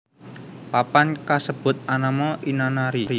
Papan kasebut anama Inanari